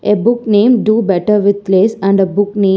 A book name do better with less and a book name --